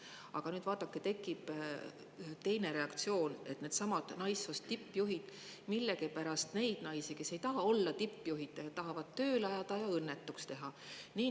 Aga vaadake, tekib selline reaktsioon, et millegipärast needsamad naissoost tippjuhid tahavad neid naisi, kes ei taha tippjuhid olla, tööle ajada ja õnnetuks teha.